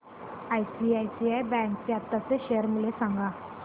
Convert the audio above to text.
ICICI bank चे आताचे share मूल्य सांगा